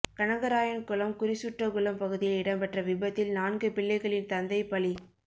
கனகராயன்குளம் குறிசுட்டகுளம் பகுதியில் இடம்பெற்ற விபத்தில் நான்கு பிள்ளைகளின் தந்தை பலி